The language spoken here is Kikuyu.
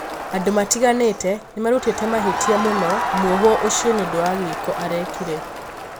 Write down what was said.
andũ matiganĩte nimarutĩte mahĩtia mũno mũhwo ũcio nĩũndũ wa giĩko arekire.